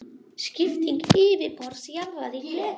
Skipting yfirborðs jarðar í fleka.